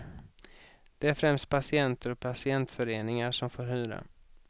Det är främst patienter och patientföreningar som får hyra.